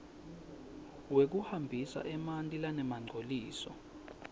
wekuhambisa emanti lanemangcoliso